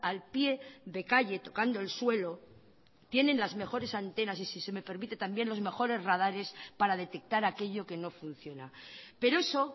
al pie de calle tocando el suelo tienen las mejores antenas y si se me permite también los mejores radares para detectar aquello que no funciona pero eso